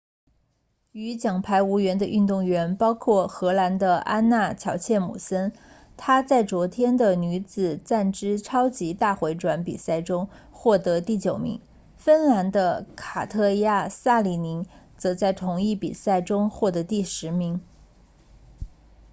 与奖牌无缘的运动员包括荷兰的安娜乔彻姆森她在昨天的女子站姿超级大回转比赛中获得第九名芬兰的卡特娅萨里宁则在同一比赛中获得第十名